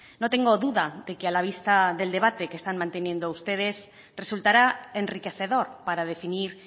no tengo duda de que a la vista del debate que están manteniendo ustedes resultará enriquecedor para definir